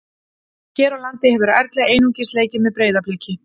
Hér á landi hefur Erla einungis leikið með Breiðabliki.